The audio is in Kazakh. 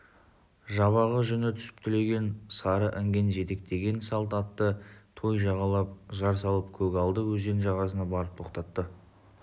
жабағы жүні түсіп түлеген сары інген жетектеген салт атты той жағалап жар салып көгалды өзен жағасына барып тоқтады